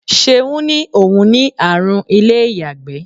Ṣeun ní òun ní àrùn ilé-iyagbe.